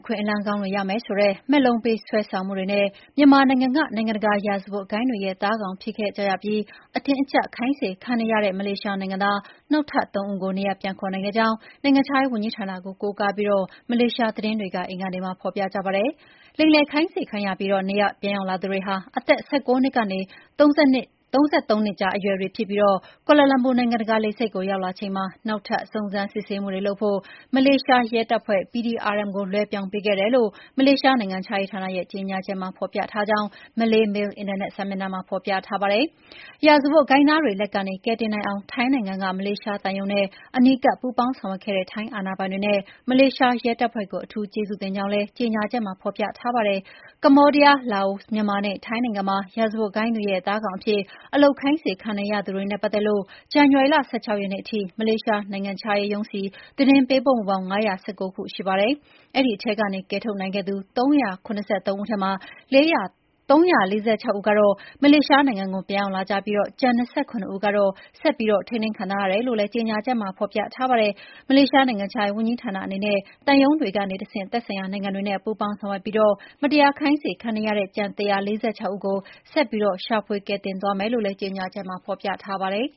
ခွင့်အလမ်းကောင်းတွေရမယ်ဆိုတဲ့ မက်လုံးပေးဆွဲဆောင်မှုတွေနဲ့ မြန်မာနိုင်ငံက နိုင်ငံတကာရာဇဝတ်ဂိုဏ်းတွေရဲ့ သားကောင်ဖြစ်ခဲ့ကြရပြီး အတင်းအကျပ်ခိုင်းစေခံနေရတဲ့ မလေးရှားနိုင်ငံသား နောက်ထပ် ၃ ဦးကို နေရပ် ပြန်ခေါ်နိုင်ခဲ့ကြောင်း နိုင်ငံခြားရေးဝန်ကြီးဌာနကို ကိုးကားပြီး မလေးရှားသတင်းတွေက အင်္ဂါနေ့မှာ ဖော်ပြကြပါတယ်။ လိမ်လည်ခိုင်းစေခံရပြီး နေရပ်ပြန်ရောက်လာသူတွေဟာ အသက် ၁၉ နှစ်ကနေ ၃၃ နှစ်ကြားအရွယ်တွေဖြစ်ပြီး ကွာလာလမ်ပူ နိုင်ငံတကာလေဆိပ်ကို ရောက်ရှိလာချိန်မှာ နောက်ထပ်စုံစမ်းစစ်ဆေးမှုတွေလုပ်ဖို့ မလေးရှားရဲတပ်ဖွဲ့ PDRM ကို လွှဲပြောင်းပေးခဲ့တယ်လို့ မလေးရှား နိုင်ငံခြားရေးဌာနရဲ့ကြေညာချက်မှာ ဖော်ပြထားကြောင်း Malaymail အင်တာနက် စာမျက်နှာမှာဖော်ပြထားပါတယ်။ ရာဇဝတ်ဂိုဏ်းသားတွေလက်ကနေ ကယ်တင်နိုင်အောင် ထိုင်းနိုင်ငံက မလေးရှားသံရုံးနဲ့ အနီးကပ်ပူးပေါင်းဆောင်ရွက်ခဲ့တဲ့ ထိုင်းအာဏာပိုင်တွေနဲ့ မလေးရှားရဲတပ်ဖွဲ့ကို အထူးကျေးဇူးတင်ကြောင်းလည်း ကြေညာချက်မှာဖော်ပြထားပါတယ်။ ကမ္ဘောဒီးယား၊ လာအို၊ မြန်မာနဲ့ ထိုင်းနိုင်ငံမှာ ရာဇဝတ်ဂိုဏ်းတွေရဲ့ သားကောင် အဖြစ် အလုပ်ခိုင်းစေခံနေရသူတွေနဲ့ပတ်သက်လို့ ဇန်နဝါရီလ ၁၆ ရက်နေ့ထိ မလေးရှားနိုင်ငံခြားရေးရုံးဆီ သတင်းပေးပို့မှုပေါင်း ၅၁၉ ခုရှိပါတယ်။ အဲဒီထဲကနေ ကယ်ထုတ်နိုင်ခဲ့သူ ၃၇၃ ဦးထဲမှာ ၃၄၆ ဦးကတော့ မလေးရှားနိုင်ငံကို ပြန်ရောက် လာပြီး ကျန် ၂၇ ဦးကတော့ ဆက်ပြီးထိန်းသိမ်းခံထားရတယ်လို့လည်း ကြေညာချက်မှာ ဖော်ပြထားပါတယ်။ မလေးရှားနိုင်ငံခြားရေးဝန်ကြီးဌာနအနေနဲ့ သံရုံးတွေကတဆင့် သက်ဆိုင်ရာနိုင်ငံတွေနဲ့ပူးပေါင်းဆောင်ရွက်ပြီး မတရားခိုင်းစေခံနေရတဲ့ ကျန် ၁၄၆ ဦးကို ဆက်ပြီးရှာဖွေကယ်တင်သွားမယ်လို့လည်း ကြေညာချက်မှာ ပြောထားပါတယ်